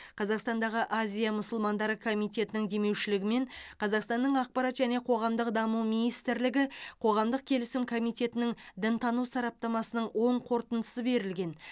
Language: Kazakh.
қазақстандағы азия мұсылмандары комитетінің демеушілігімен қазақстанның ақпарат және қоғамдық даму министрлігі қоғамдық келісім комитетінің дінтану сараптамасының оң қорытындысы берілген